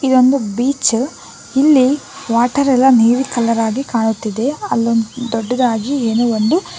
ಇದೊಂದು ಬೀಚು ಇಲ್ಲಿ ವಾಟರ್ ಎಲ್ಲಾ ನೀಲಿ ಕಲರ್ ಆಗಿ ಕಾಣುತ್ತಿದೆ ಅಲ್ಲೋ ದೊಡ್ಡದಾಗಿ ಏನೋ ಒಂದು--